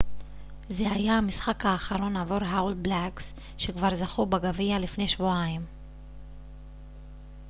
זה היה המשחק האחרון עבור האול בלאקס שכבר זכו בגביע לפני שבועיים